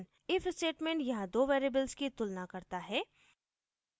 if statement यहाँ दो variables की तुलना करता है